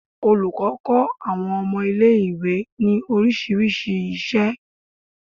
Olùkọ́ kó àwọn ọmọ ilé ìwé ní orísìírísìí isẹ